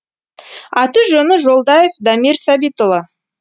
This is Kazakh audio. аты жөні жолдаев дамир сәбитұлы